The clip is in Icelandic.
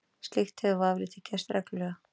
Slíkt hefur vafalítið gerst reglulega.